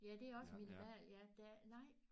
Ja det er også minimal ja der er nej